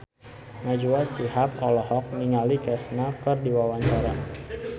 Najwa Shihab olohok ningali Kesha keur diwawancara